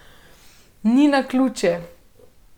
Ni naključje.